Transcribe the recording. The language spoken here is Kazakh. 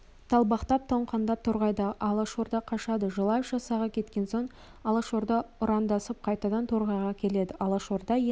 далбақтап тоңқаңдап торғайдағы алашорда қашады желаев жасағы кеткен сон алашорда ұрандасып қайтадан торғайға келеді алашорда енді